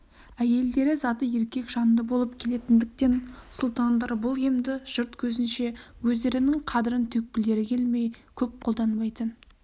әйелдері заты еркек жанды болып келетіндіктен сұлтандар бұл емді жұрт көзінше өздерінің қадірін төккілері келмей көп қолданбайтын